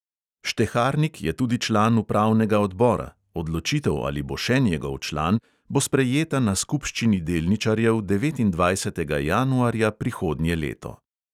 Šteharnik je tudi član upravnega odbora, odločitev, ali bo še njegov član, bo sprejeta na skupščini delničarjev devetindvajsetega januarja prihodnje leto.